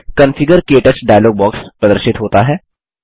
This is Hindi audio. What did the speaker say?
कॉन्फिगर - क्टच डायलॉग बॉक्स प्रदर्शित होता है